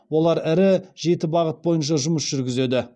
олар ірі жеті бағыт бойынша жұмыс жүргізеді